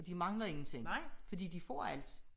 Og de mangler ingenting fordi de får alt